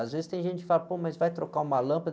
Às vezes tem gente que fala, pô, mas vai trocar uma lâmpada.